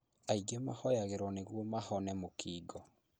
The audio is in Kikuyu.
Angĩ mahoyagĩrwo nĩguo mahone mũkingo